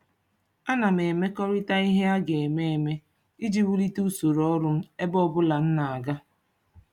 Ana m emekọrịta ihe a ga-eme eme iji wulite usoro ọrụ m ebe ọbụla m na-aga.